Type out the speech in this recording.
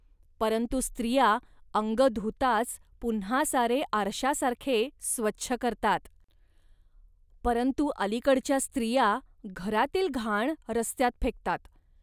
परंतु स्त्रिया अंग धुताच पुन्हा सारे आरशासारखे स्वच्छ करतात. परंतु अलिकडच्या स्त्रिया घरातील घाण रस्त्यात फेकतात